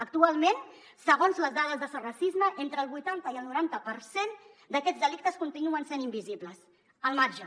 actualment segons les dades de sos racisme entre el vuitanta i el noranta per cent d’aquests delictes continuen sent invisibles al marge